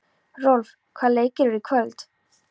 Rolf, hvaða leikir eru í kvöld?